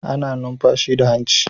Ana numfashi da hanci